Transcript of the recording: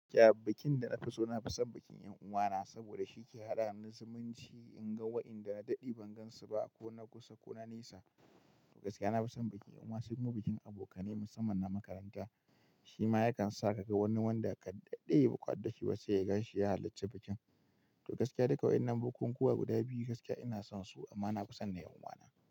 Ya bikin da na fi so, na fi son bikin ƴan'uwana saboda shi ke haɗa mu zumunci in ga waɗanda na daɗe ban gansu ba ko na kusa ko na nesa. Gaskiya na fi son bikin ƴan'uwa, sai kuma bikin abokanai musamman na makaranta. Shi ma yakan sa ka ga wani wanda ka daɗe ba ku haɗu dashi ba sai ka ganshi ya halarci bikin. To gaskiya duka waɗannan bukukuwa guda biyu gaskiya ina son su amma na fi son na ƴan'uwana.